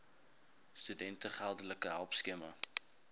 studente geldelike hulpskema